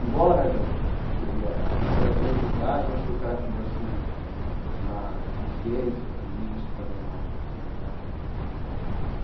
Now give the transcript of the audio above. Embora a gente era da mesma idade, mas foi um cara que me deu assim uma consciência política danada.